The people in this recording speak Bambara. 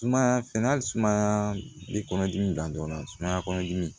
Sumaya fɛnɛ suma bɛ kɔnɔdimi bantɔ la sumaya kɔnɔdimi